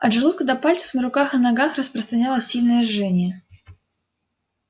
от желудка до пальцев на руках и ногах распространялось сильное жжение